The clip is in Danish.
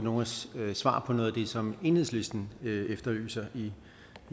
svar på noget af det som enhedslisten efterlyser i